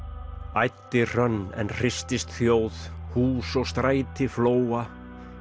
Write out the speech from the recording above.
æddi hrönn en hristist þjóð hús og stræti flóa